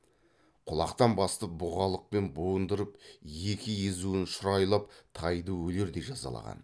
құлақтан басып бұғалықпен буындырып екі езуін шұрайлап тайды өлердей жазалаған